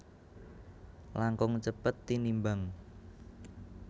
langkung cepet tinimbang